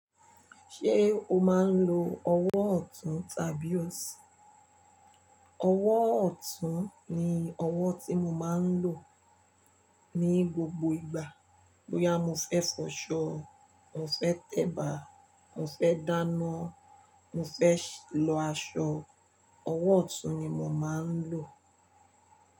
Ṣé o máa ń lo ọwọ́ ọ̀tún tàbí ọ̀sí? Ọwọ́ ọ̀tún ni ọwọ́ tí mo máa ń lò ní gbogbo ìgbà. Bóyá mo fẹ́ fọṣọ, mo fẹ́ tẹ̀bà, mo fẹ́ dáná, mo fẹ́ lọ aṣọ, ọwọ́ ọ̀tún ni mo máa ń lò.